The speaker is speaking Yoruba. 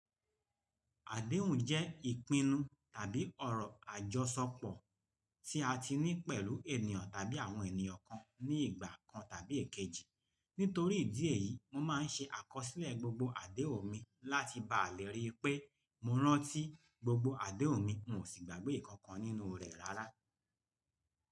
Àdéhùn jẹ́ ìpinnu tàbí ọ̀rọ̀ àjọṣọpọ̀ tí a ti ní pẹ̀lú ènìyàn tàbí àwọn ènìyàn kan ní ìgbà kan tàbí èkejì. Nítorí ìdí èyí, mo máa ń ṣe àkọsílẹ̀ gbogbo àdéhùn mi láti bá à lè ríi pé mo rántí gbogbo àdéhùn mi, mo sì gbàgbé ìkankan nínú rẹ̀ rárá.